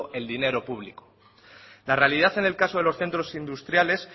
el dinero público la realidad en el caso de los centros industriales